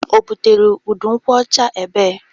O butere udu nkwụ ọcha ebe?